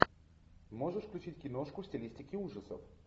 можешь включить киношку в стилистике ужасов